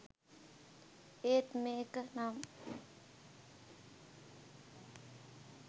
ඒත් මේක නම්